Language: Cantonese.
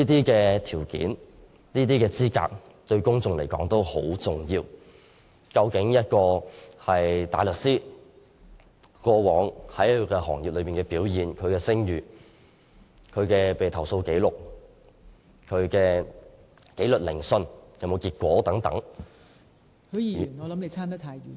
這些條件和資格對公眾亦很重要，一名大律師過往在行內的表現、聲譽、被投訴紀錄、研訊結果......